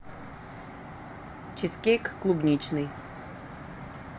чизкейк клубничный